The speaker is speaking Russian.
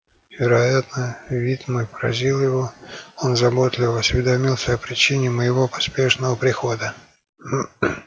вероятно вид мой поразил его он заботливо осведомился о причине моего поспешного прихода